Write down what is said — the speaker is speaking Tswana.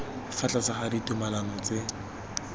fa tlase ga ditumalano tse